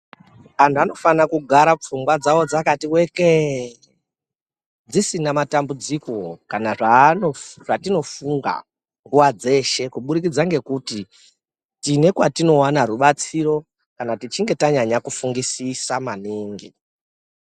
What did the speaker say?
Antu anofana kugara pfungwa dzawo dzakati wekee, dzisina matambudziko kana zvatinofunga nguva dzeshe, kubudikidza ngekuti tine kwatinowana rubatsiro kana tichinge tanyanya kufungisisa maningi.